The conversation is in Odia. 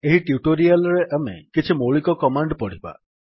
ଏହି ଟ୍ୟୁଟୋରିଆଲ୍ ରେ ଆମେ କିଛି ମୌଳିକ କମାଣ୍ଡ୍ ପଢିବା